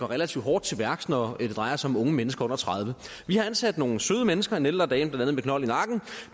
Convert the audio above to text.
relativt hårdt til værks når det drejer sig om unge mennesker under tredivete vi har ansat nogle søde mennesker en ældre dame med knold i nakken